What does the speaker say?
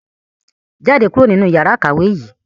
Jáde kúrò nínú yàrá ìkàwé yìí!